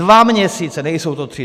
Dva měsíce, nejsou to tři.